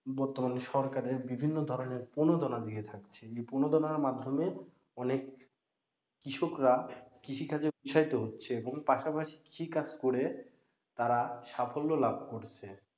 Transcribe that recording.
বর্তমানে সরকারের বিভিন্ন ধরনের প্রণোদনা দিয়ে থাকছে, এই প্রণোদনার মাধ্যমে অনেক কৃষকরা কৃষিকাজে উত্সাহিত হচ্ছে এবং পাশাপাশি কৃষিকাজ করে তারা সাফল্য লাভ করছে।